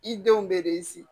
I denw bɛ de